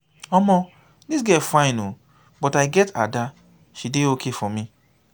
omo dis girls fine ooo but i get ada she dey okay for me.